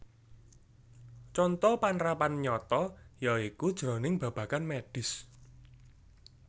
Conto panrapan nyata ya iku jroning babagan mèdhis